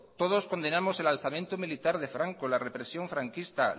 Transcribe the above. todos condenamos el alzamiento militar de franco la represión franquista